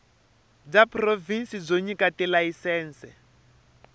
bya provhinsi byo nyika tilayisense